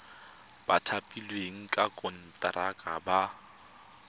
ba thapilweng ka konteraka ba